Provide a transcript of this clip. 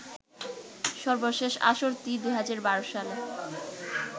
সর্বশেষ আসরটি ২০১২ সালে